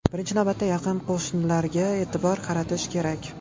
Birinchi navbatda yaqin qo‘shnilarga e’tibor qaratish kerak.